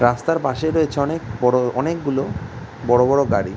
রাস্তার পাশে রয়েছে অনেক বড়ো অনেকগুলো বড়ো বড়ো গাড়ি।